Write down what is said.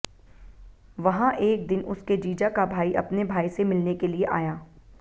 वहां एक दिन उसके जीजा का भाई अपने भाई से मिलने के लिए आया